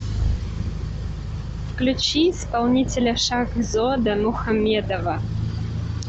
включи исполнителя шахзода мухаммедова